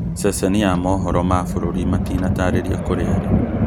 Ceceni ya mohoro ma bũrũri matinatarĩria kũrĩa arĩ.